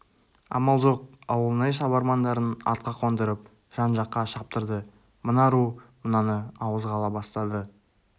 амал жоқ ауылнай шабармандарын атқа қондырып жан-жаққа шаптырды мына ру мынаны ауызға ала бастады